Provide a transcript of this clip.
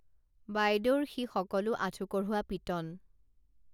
বাইদেউৰ সি সকলো আঁঠু কঢ়োৱা পিটন